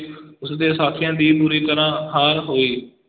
ਉਸ ਦੇ ਸਾਥੀਆਂ ਦੀ ਬੁਰੀ ਤਰ੍ਹਾਂ ਹਾਰ ਹੋਈ।